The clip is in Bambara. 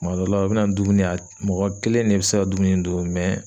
Tuma dɔ la u bi na ni dumuni ye a mɔgɔ kelen de bi se ka dumuni in dun